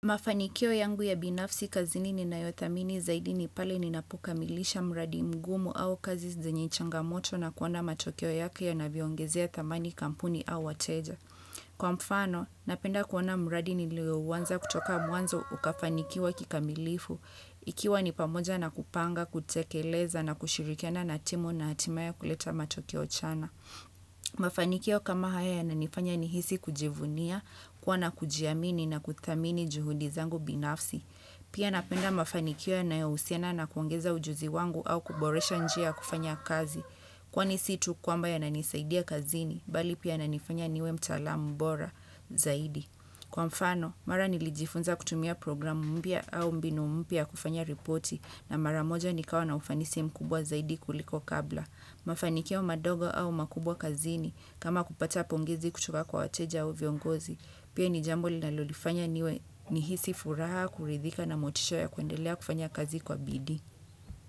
Mafanikio yangu ya binafsi kazi nini na yothamini zaidi ni pale ni napokamilisha mradi mgumu au kazi zenye changamoto na kuona matokeo yake ya naviongezia tamani kampuni au wateja. Kwa mfano, napenda kuona mradi niliyouanza kutoka mwanzo ukafanikiwa kikamilifu. Ikiwa ni pamoja na kupanga, kutekeleza na kushirikiana na timu na hatimaye kuleta matokeo chana. Mafanikio kama haya ya nanifanya nihisi kujivunia kuwa na kujiamini na kutamini juhudizangu binafsi Pia napenda mafanikio yanayohusiena na kuangeza ujuzi wangu au kuboresha njia kufanya kazi Kwa ni situ kwa mba ya nanisaidia kazini Bali pia nanifanya niwe mtalamu bora zaidi Kwa mfano, mara nilijifunza kutumia programu mpya au mbinu mpya kufanya ripoti na mara moja nikawa na ufanisi mkubwa zaidi kuliko kabla Mafanikio madogo au makubwa kazini kama kupata pongizi kuchukua kwa wateja au viongozi Pia ni jambo linalolifanya nihisi furaha kuridhika na motisha ya kuendelea kufanya kazi kwa bidi.